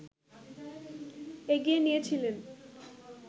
এগিয়ে নিয়েছিলেন